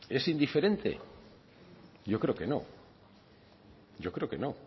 es indiferente yo creo que no yo creo que no